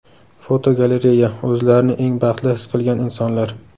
Fotogalereya: O‘zlarini eng baxtli his qilgan insonlar.